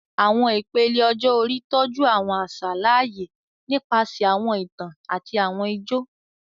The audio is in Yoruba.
Awọn ipele ọjọ-ori tọju awọn aṣa laaye nipasẹ awọn itan ati awọn ijó